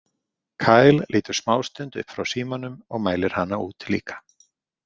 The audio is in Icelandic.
Kyle lítur smástund upp frá símanum og mælir hana út líka.